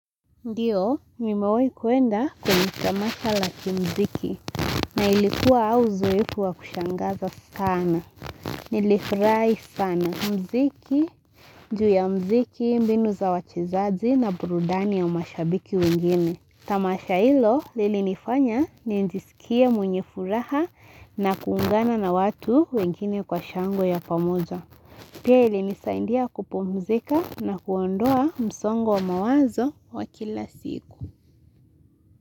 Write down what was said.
Ndiyo, nimawahi kuenda kwenye tamasha la kimziki na ilikuwa auzoeifu wa kushangaza sana. Nilifurahi sana muziki, juu ya muziki, mbinu za wachezaji na burudani ya mashabiki wengine. Tamasha ilo lili nifanya ni njisikia mwenye furaha na kuungana na watu wengine kwa shangwe ya pamoja. Pia ilinisaindia kupumzika na kuondoa msongo mawazo wa kila siku.